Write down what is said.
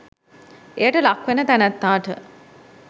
එයට ලක් වෙන තැනැත්තාට